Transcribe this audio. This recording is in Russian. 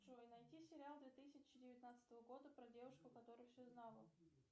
джой найди сериал две тысячи девятнадцатого года про девушку которая все знала